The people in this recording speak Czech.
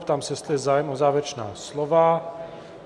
Ptám se, jestli je zájem o závěrečná slova?